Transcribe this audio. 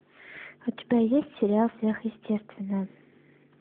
у тебя есть сериал сверхъестественное